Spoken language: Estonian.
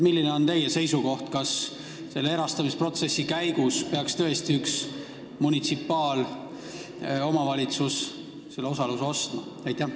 Milline on teie seisukoht: kas selle erastamisprotsessi käigus peaks tõesti üks munitsipaalvalitsus selle osaluse ostma?